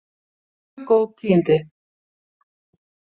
Mjög góð tíðindi